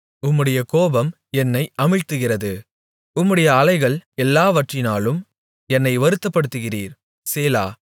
உம்முடைய கோபம் என்னை அமிழ்த்துகிறது உம்முடைய அலைகள் எல்லாவற்றினாலும் என்னை வருத்தப்படுத்துகிறீர் சேலா